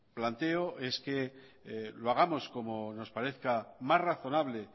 planteo es que lo hagamos como nos parezca más razonable